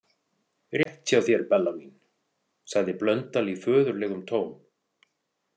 Rétt hjá þér, Bella mín, sagði Blöndal í föðurlegum tón.